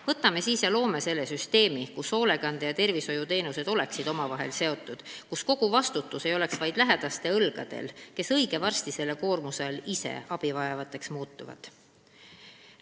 Võtame siis ja loome süsteemi, kus hoolekande- ja tervishoiuteenused oleksid omavahel seotud ning kus kogu vastutus ei oleks vaid lähedaste õlgadel, kes õige varsti selle koormuse all ise abivajajateks muutuvad.